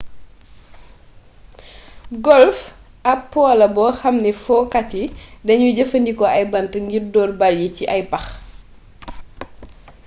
golf am po la boo xam ne fokat yi dañuy jëfandikoo ay bant ngir door bal yi ci ay pax